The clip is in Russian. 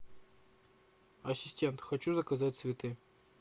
ассистент хочу заказать цветы